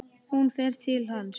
Hún fer til hans.